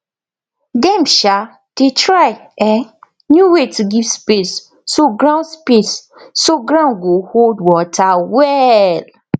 dem um dey try um new way to give space so ground space so ground go hold water well